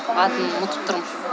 атын ұмытып тұрмын